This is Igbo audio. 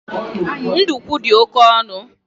Ndukwu di oke onu